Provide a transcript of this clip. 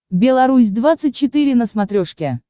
белорусь двадцать четыре на смотрешке